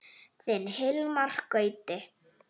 Þinn Hilmar Gauti.